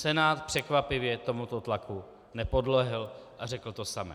Senát překvapivě tomuto tlaku nepodlehl a řekl to samé.